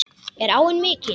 Er áin mikil?